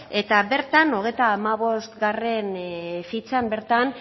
eta bertan hogeita hamabostgarrena fitxan bertan